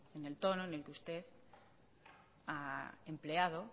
en el tono en el que usted ha empleado